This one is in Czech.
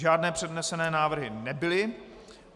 Žádné přednesené návrhy nebyly.